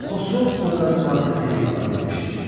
Onu Xosrov obrazı vasitəsilə ifadə etmişdir.